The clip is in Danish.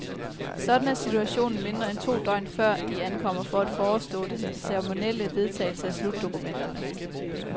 Sådan er situationen mindre end to døgn før, de ankommer for at forestå den ceremonielle vedtagelse af slutdokumenterne.